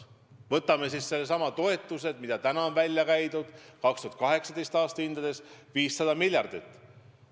Võtame needsamad toetused, mida on välja käidud: 2018. aasta hindades 500 miljardit.